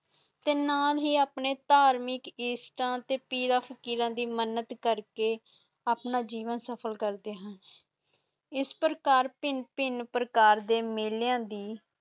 ਤੇ ਨਾਲ ਹੀ ਆਪਣੇ ਇਸ਼ਟ ਤੇ ਪੀਰ ਫ਼ਕੀਰ ਦੀ ਮੰਨਤ ਕਰਕੇ ਆਪਣੇ ਜੀਵਨ ਸਫਲ ਕਰਦੇ ਹੁਣ ਇਸ ਪ੍ਰਕਾਰ ਪਹਿਨ ਪਹਿਨ ਪਰਕਾਰ ਦੇ ਮੇਲਿਆਂ ਦੀ